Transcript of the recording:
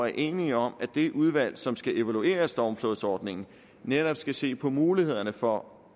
er enige om at det udvalg som skal evaluere stormflodsordningen netop skal se på mulighederne for